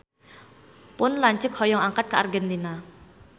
Pun lanceuk hoyong angkat ka Argentina